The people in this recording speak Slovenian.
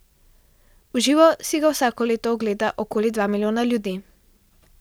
V živo si ga vsako leto ogleda okoli dva milijona ljudi.